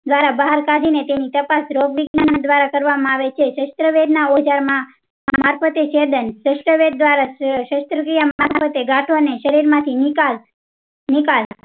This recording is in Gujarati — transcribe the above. દ્વારા બહાર કડીને તેની તપાસ રોગ વિજ્ઞાયન દ્વારા કરવામાં આવે છે સેસ્ટ્રેવેધ ના ઓઝર માં સેસ્ટ્રેવેધ દ્વારા સેસ્ત્ર થી પછાડતી ગાંઠો ને શરીર માંથી નીકળ નીકાળ